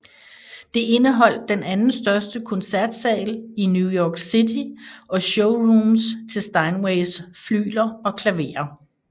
Det indeholdt den anden største koncertsal i New York City og showrooms til Steinways flygler og klaverer